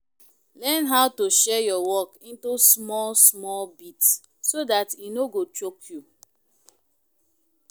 learn how to share your work into small small bit so dat e no go choke you